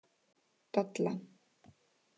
Dalla